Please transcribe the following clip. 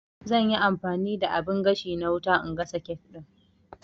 Zanyi amfani da abin gashi na wuta na gasa kek ɗin